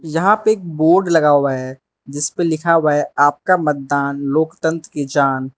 जहां पे एक बोर्ड लगा हुआ है जिस पे लिखा हुआ है आपका मतदान लोकतंत्र की जान।